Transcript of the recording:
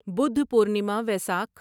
Buddha Purnima Vaisakh